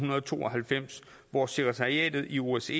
to og halvfems hvor sekretariatet i osce